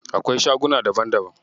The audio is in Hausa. Akwai shaguna daban daban.